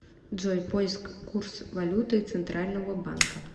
джой поиск курс валюты центрального банка